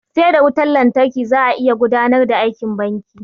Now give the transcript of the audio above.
Sai da wutan lantarki za a iya gudanar da aikin banki.